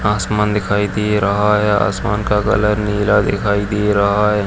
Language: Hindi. आसमान दिखाई दे रहा हैं आसमान का कलर नीला दिखाई दे रहा है।